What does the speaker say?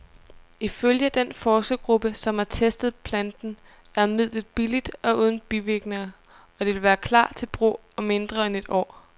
Ifølge den forskergruppe, som har testet planten, er midlet billigt og uden bivirkninger, og det vil klar til brug om mindre end et år.